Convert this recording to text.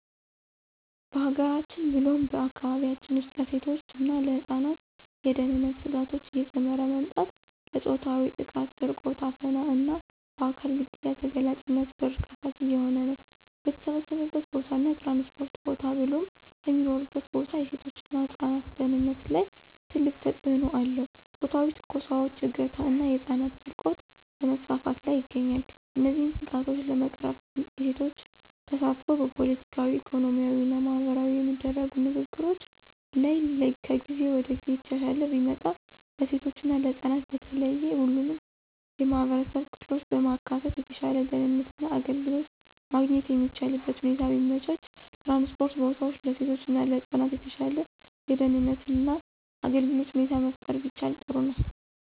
በሀገራችን ብሎም በአካባቢያችን ውስጥ ለሴቶች እና ለህፃናት የደህንነት ስጋቶች እየጨመረ መምጣት ለፆታዊ ጥቃት፣ ስርቆት፣ አፈና እና በአካል ግድያ ተጋላጭነት በር ከፋች እየሆነ ነው። በተሰበሰበበት ቦታ እና ትራንስፖርት ቦታ ብሎም ከሚኖሩበት ቦታ የሴቶች እና ህፃናት ደህንነት ላይ ትልቅ ተጽእኖ አለው ፆታዊ ትንኮሳዎች፣ እገታ ና የህፃናት ስርቆት በመስፋፋት ላይ ይገኛል። እነዚህን ስጋቶች ለመቅረፍ የሴቶች ተሳትፎ በፖለቲካዊ፣ ኢኮኖሚያዊ እና ማህበራዊ የሚደረጉ ንግግሮች ላይ ከጊዜ ወደ ጊዜ እየተሻሻለ ቢመጣ፣ ለሴቶች እና ህፃናት በተለየ ሁሉንም የማህበረሰብ ክፍሎች በማካተት የተሻለ ደህንነት እና አገልግሎት ማግኘት የሚቻልበትን ሁኔታ ቢመቻች፣ ትራንስፖርት ቦታዎች ለሴቶች እና ለህፃናት የተሻለ የደህንነት እና አገልግሎት ሁኔታ መፍጠር ቢቻል ጥሩ ነው።